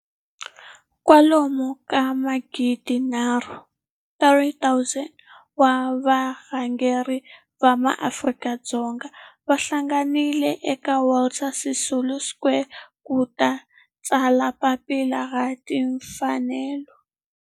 Kwalomu ka magidi nharhu, 3 000, wa varhangeri va maAfrika-Dzonga va hlanganile eka Walter Sisulu Square ku ta tsala Papila ra Timfanelo.